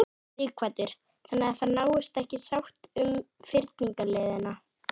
Sighvatur: Þannig að það náist ekki sátt um fyrningarleiðina?